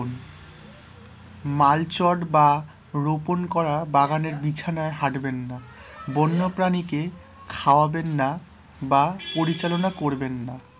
মাল চট বা রোপণ করা বাগানের বিছানায় হাঁটবেন না, বন্য প্রাণীকে খাওয়াবেন না বা পরিচলনা করবেন না